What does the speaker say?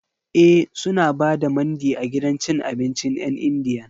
E, suna ba da Mandi a gidan cin abincin 'yan Indiyan.